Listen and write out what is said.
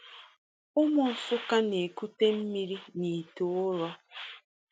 Ụmụ Nsukka na-ekute mmiri n’ite ụrọ.